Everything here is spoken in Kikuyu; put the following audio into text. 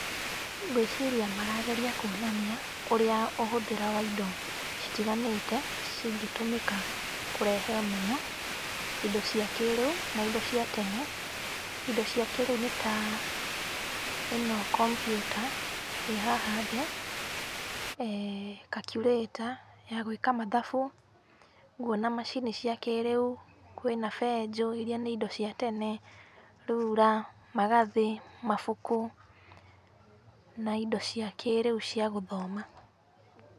Ngwĩciria marageria kuonania ũrĩa ũhũthĩra wa indo citiganĩte cingĩtũmĩka kũrehe ũmenyo, indo cia kĩrĩu na indo cia tene. Indo cia kĩrĩu nĩ ta ĩno kompiuta ĩ haha thĩ, calculator ya gwĩka mathabu. Nguona macini cia kĩrĩu, kwĩna benjũ ĩrĩa nĩ indo cia tene, rura, magathĩ, mabuku na indo cia kĩrĩu cia gũthoma.